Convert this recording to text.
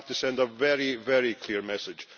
We have to send a very, very clear message.